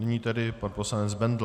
Nyní tedy pan poslanec Bendl.